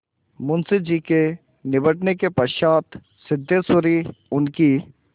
मुंशी जी के निबटने के पश्चात सिद्धेश्वरी उनकी